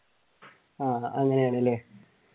ആഹ് അങ്ങനെയാണല്ലേ